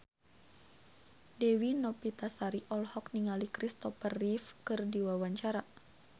Dewi Novitasari olohok ningali Kristopher Reeve keur diwawancara